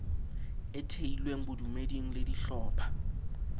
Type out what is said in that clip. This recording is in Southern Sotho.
e thehilweng bodumeding le dihlopha